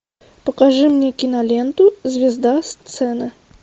покажи мне киноленту звезда сцены